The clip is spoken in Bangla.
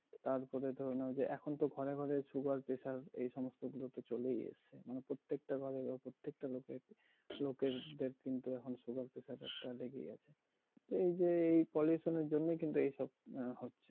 তারপরে তো অনেকে, এখন তো ঘরে ঘরে sugar, pressure এই সমস্ত রোগগুলো তো চলেই এসছে। মানে প্রত্যেকটা ঘরে বা প্রত্যেকটা লোকের কিন্তু এখন sugar, pressure একটা লেগেই আছে। টা এই যে এই pollution এর জন্যেই কিন্তু এইসব আহ হছে।